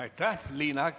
Aitäh!